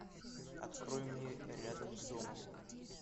открой мне рядом с домом